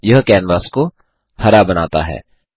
यह कैनवास को हरा बनाता है